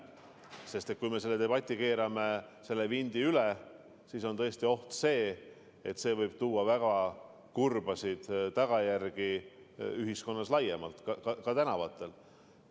Kui me keerame sellel debatil vindi üle, siis on tõesti oht, et see võib tuua kaasa väga kurbi tagajärgi ühiskonnas laiemalt, ka tänavatel.